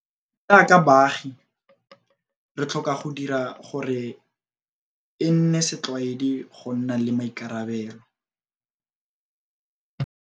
Jaaka baagi, re tlhoka go dira gore e nne setlwaedi go nna le maikarabelo.